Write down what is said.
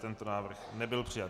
Tento návrh nebyl přijat.